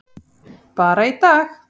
Bara í dag.